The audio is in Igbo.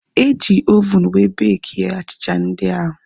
Eji ovunu wee bekie achịcha ndị ahu